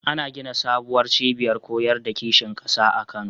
Ana gina sabuwar cibiyar koyar da kishin ƙasa a Kano.